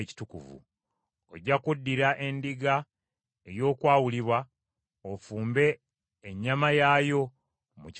“Ojja kuddira endiga y’okwawulibwa, ofumbe ennyama yaayo mu kifo ekitukuvu;